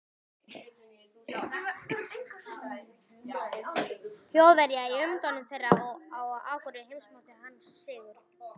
Þjóðverja í umdæmum þeirra, og á Akureyri heimsótti hann Sigurð